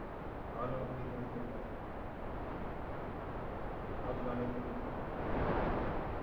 हान किती आनल्यात बापरे अजून अनेन तो खूप